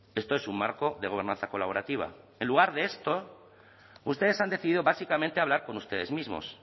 esto es un marco de gobernanza colaborativa en lugar de esto ustedes han decidido básicamente hablar con ustedes mismos